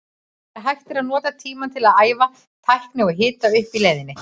Þegar hægt er að nota tímann til að æfa tækni og hita upp í leiðinni.